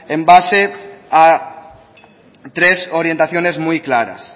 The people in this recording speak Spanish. en base a tres orientaciones muy claras